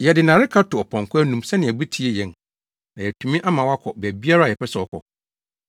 Yɛde nnareka to ɔpɔnkɔ anom sɛnea obetie yɛn na yɛatumi ama wakɔ baabiara a yɛpɛ sɛ ɔkɔ.